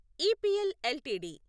EPL LTD